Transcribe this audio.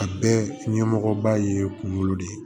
A bɛɛ ɲɛmɔgɔba ye kunkolo de ye